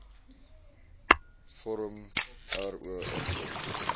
vorm ro invul